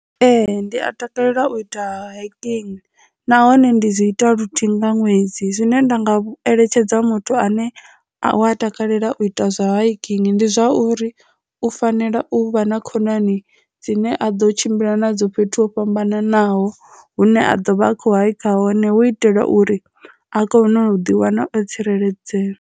Ee, ndi a takalela u ita hiking nahone ndi zwi ita luthihi nga ṅwedzi zwine nda nga eletshedza muthu ane a takalela u ita zwa hailing ndi zwa uri u fanela u vha na khonani dzine a ḓo tshimbila na dzo fhethu ho fhambananaho hune a dovha a kho he kha hone hu itela uri a kone u ḓiwana o tsireledzea.